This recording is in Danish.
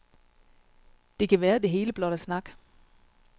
Det kan være, det hele blot er snak.